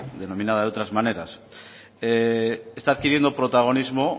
denominada de otras maneras está adquiriendo protagonismo